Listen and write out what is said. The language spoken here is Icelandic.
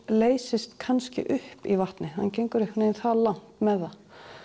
leysist kannski upp í vatni hann gengur það langt með það